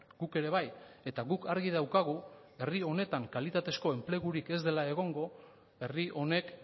guk ere bai eta guk argi daukagu herri honetan kalitatezko enplegurik ez dela egongo herri honek